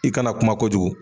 I kana kuma kojugu.